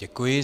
Děkuji.